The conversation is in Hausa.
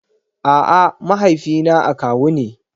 A'a, mahaifina akawu ne.